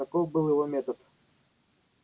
таков был его метод